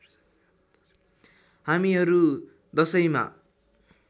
हामीहरू दशैँमा